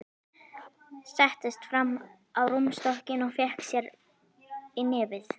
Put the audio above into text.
Settist fram á rúmstokkinn og fékk sér í nefið.